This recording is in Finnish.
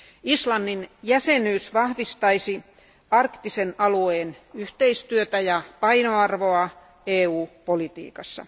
Islannin jäsenyys vahvistaisi arktisen alueen yhteistyötä ja painoarvoa EU politiikassa.